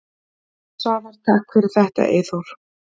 Svavar: Takk fyrir þetta Eyþór.